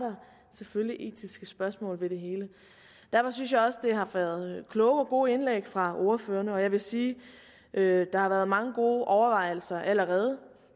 selvfølgelig etiske spørgsmål ved det hele derfor synes jeg også at der har været kloge og gode indlæg fra ordførerne og jeg vil sige at der har været mange gode overvejelser allerede